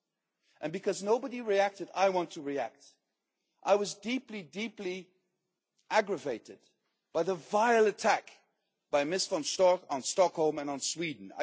Since nobody reacted, I want to react I was deeply, deeply aggravated by the vile attack by Ms Von Storch on Stockholm and on Sweden.